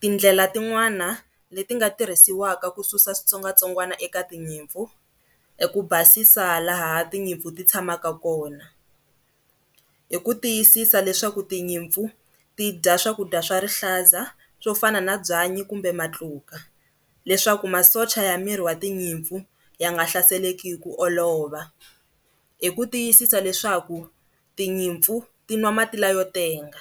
Tindlela tin'wani leti nga tirhisiwaka ku susa switsongwatsongwana eka tinyimpfu, i ku basisa laha tinyimpfu ti tshamaka kona, hi ku tiyisisa leswaku tinyimpfu ti dya swakudya swa Rihlaza swo fana na byanyi kumbe matluka leswaku masocha ya miri wa tinyimpfu ya nga hlaseleke hi ku olova. Hi ku tiyisisa leswaku tinyimpfu ti nwa mati la yo tenga